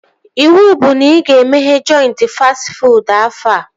Iwu bụ na ị ga-emeghe jọintị fastị fuud afọ a!